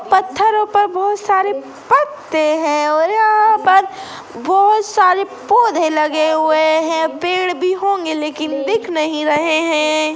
पत्थरो पर बहोत सारे पत्ते है और यहाँ पर बहुत सारे पौधे लगे हुए है पेड़ भी होंगे लेकिन दिख नही रहे है।